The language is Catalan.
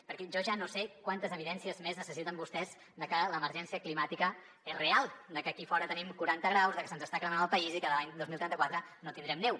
perquè jo ja no sé quantes evidències més necessiten vostès de que l’emergència climàtica és real de que aquí a fora tenim quaranta graus de que se’ns està cremant el país i que l’any dos mil trenta quatre no tindrem neu